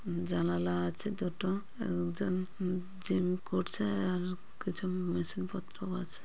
জানালা আছে দুটো। এক জন উ জিম করছে আর কিছু মেশিন পত্র ও আছে।